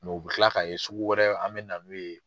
u bɛ kila ka ye sugu wɛrɛ an bɛ na n'o ye.